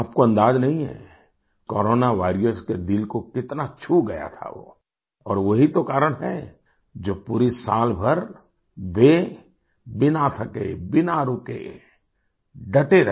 आपको अंदाजा नहीं है कोरोना वॉरियर्स के दिल को कितना छू गया था वो और वो ही तो कारण है जो पूरी साल भर वे बिना थके बिना रुके डटे रहे